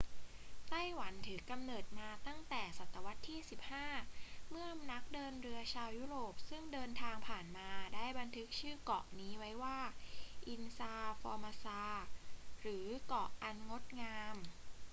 ไต้หวันถือกำเนิดมาตั้งแต่ศตวรรษที่ 15 เมื่อนักเดินเรือชาวยุโรปซึ่งเดินทางผ่านมาได้บันทึกชื่อเกาะนี้ไว้ว่า อิลลา ฟอร์มาซา ilha formosa หรือเกาะอันงดงาม